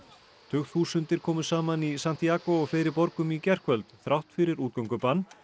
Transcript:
tugþúsundir komu saman í Santíagó og fleiri borgum í gærkvöld þrátt fyrir útgöngubann